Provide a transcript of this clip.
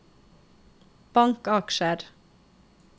bankaksjer